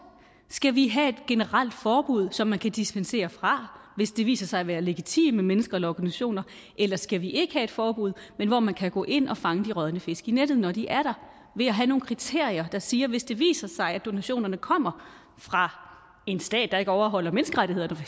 skal vi have et generelt forbud som man kan dispensere fra hvis det viser sig at være legitime mennesker eller organisationer eller skal vi ikke have et forbud men hvor man kan gå ind og fange de rådne fisk i nettet når de er der ved at have nogle kriterier der siger at hvis det viser sig at donationerne kommer fra en stat der ikke overholder menneskerettighederne for